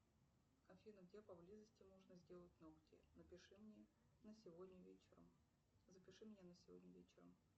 афина где поблизости можно сделать ногти запиши меня на сегодня вечером